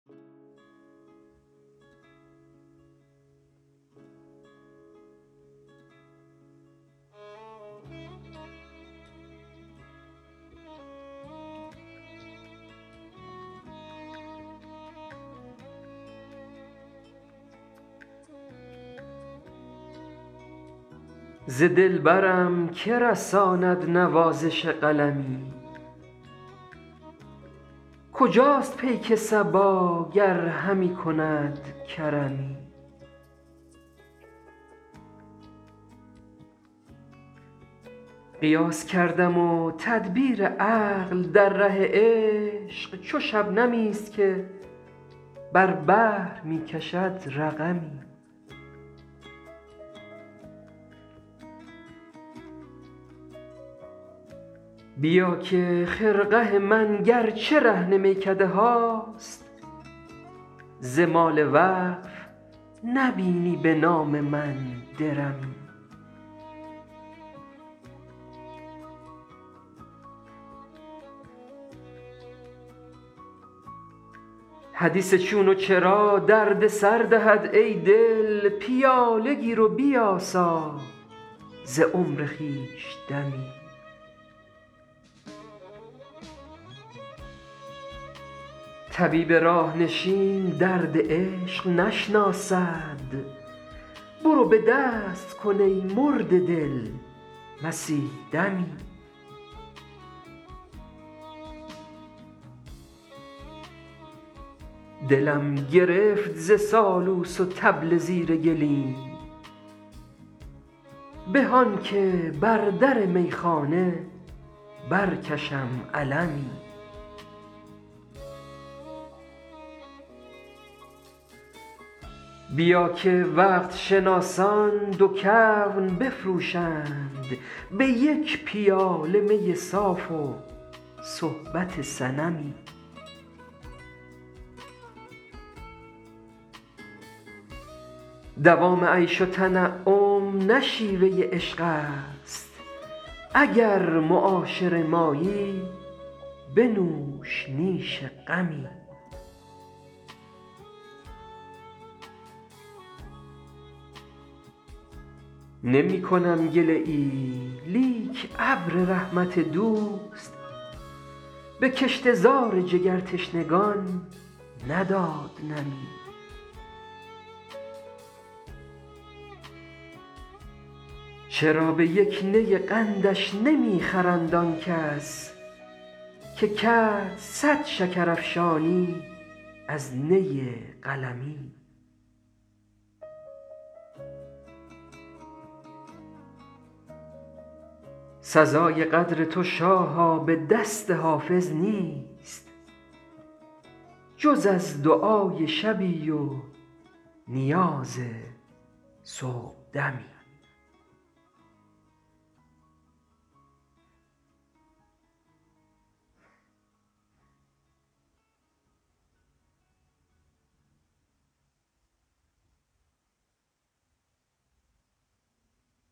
ز دلبرم که رساند نوازش قلمی کجاست پیک صبا گر همی کند کرمی قیاس کردم و تدبیر عقل در ره عشق چو شبنمی است که بر بحر می کشد رقمی بیا که خرقه من گر چه رهن میکده هاست ز مال وقف نبینی به نام من درمی حدیث چون و چرا درد سر دهد ای دل پیاله گیر و بیاسا ز عمر خویش دمی طبیب راه نشین درد عشق نشناسد برو به دست کن ای مرده دل مسیح دمی دلم گرفت ز سالوس و طبل زیر گلیم به آن که بر در میخانه برکشم علمی بیا که وقت شناسان دو کون بفروشند به یک پیاله می صاف و صحبت صنمی دوام عیش و تنعم نه شیوه عشق است اگر معاشر مایی بنوش نیش غمی نمی کنم گله ای لیک ابر رحمت دوست به کشته زار جگرتشنگان نداد نمی چرا به یک نی قندش نمی خرند آن کس که کرد صد شکرافشانی از نی قلمی سزای قدر تو شاها به دست حافظ نیست جز از دعای شبی و نیاز صبحدمی